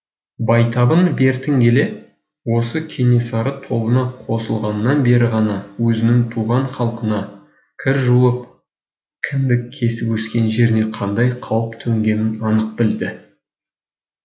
байтабын бертін келе осы кенесары тобына қосыл ғаннан бері ғана өзінің туған халқына кір жуып кіндік кесіп өскен жеріне қандай қауіп төнгенін анық білді